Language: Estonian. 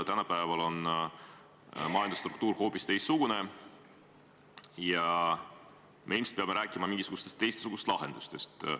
Tänapäeval on majanduse struktuur hoopis teistsugune ja me ilmselt peame rääkima mingisugustest teistsugustest lahendustest.